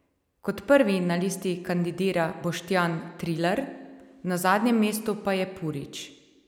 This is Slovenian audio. Kot prvi na listi kandidira Boštjan Trilar, na zadnjem mestu pa je Purič.